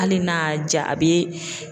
Hali n'a y'a ja a bɛ